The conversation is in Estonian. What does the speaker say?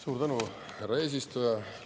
Suur tänu, härra eesistuja!